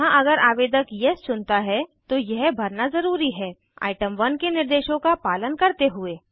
यहाँ अगर आवेदक येस चुनता है तो यह भरना ज़रूरी है आइटम 1 के निर्देशों का पालन करते हुए